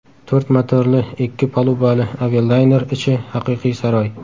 To‘rt motorli ikki palubali avialayner ichi haqiqiy saroy.